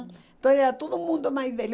Então era todo mundo mais velho.